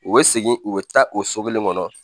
U bɛ segin u bɛ taa o so kelen kɔnɔ